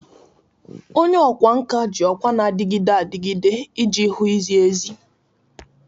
Onye ọkwá nkà ji ọkwa na-adịgide adịgide iji hụ izi ezi.